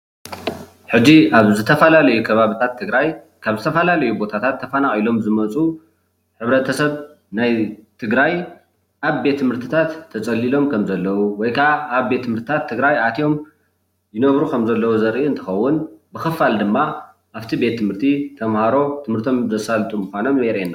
ሕጂ ኣብ ዝተፈላለዩ ከባቢታት ትግራይ ካብ ዝተፈላለዩ ቦታታት ተፈናቂሎም ዝመፁ ሕብረተሰብ ናይ ትግራይ ኣብ ቤት ትምህርትታት ተፀሊሎም ከም ዘለዉ ወይ ከዓ ኣብ ቤት ትምህርትታት ትግራይ ኣትዮም ይነብሩ ከምዘለዉ ዘርኢ እንትከውን ብክፋል ድማ ኣብቲ ቤት ትምህርቲ ተማሃሮ ትምህርቶም ዘሳልጡ ምካኖም የርእየና፡፡